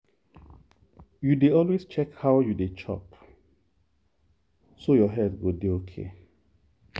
you dey always check how you dey chop so your health go dey okay.